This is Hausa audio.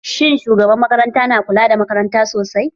Shin shugabar makarantar na kula da makarantar sosai?